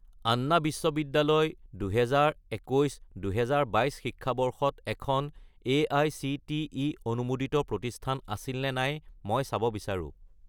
আন্না বিশ্ববিদ্যালয় 2021 - 2022 শিক্ষাবৰ্ষত এখন এআইচিটিই অনুমোদিত প্ৰতিষ্ঠান আছিল নে নাই মই চাব বিচাৰোঁ।